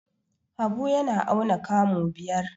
Habu yana auna kamu biyar.